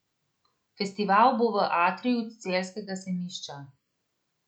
Festival bo v atriju celjskega sejmišča.